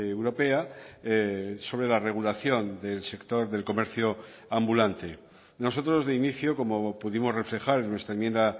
europea sobre la regulación del sector del comercio ambulante nosotros de inicio como pudimos reflejar en nuestra enmienda